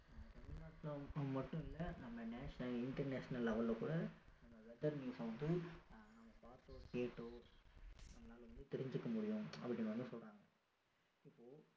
ஆஹ் தமிழ்நாடுல மட்டும் இல்லை நம்ம national international level ல கூட நம்ம weather news ச வந்து நம்ம பார்த்தோ கேட்டோ நம்மளால வந்து தெரிஞ்சிக்க முடியும் அப்படின்னு வந்து சொல்றாங்க so இப்போ